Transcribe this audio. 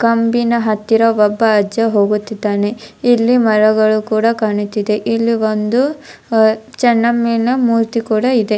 ಕಂಬಿನ ಹತ್ತಿರ ಒಬ್ಬ ಅಜ್ಜ ಹೋಗುತ್ತಿದ್ದಾನೆ ಇಲ್ಲಿ ಮರಗಳು ಕೂಡ ಕಾಣುತ್ತಿದೆ ಇಲ್ಲಿ ಒಂದು ಚೆನ್ನಮ್ಮನ ಮೂರ್ತಿ ಕೂಡ ಇದೆ.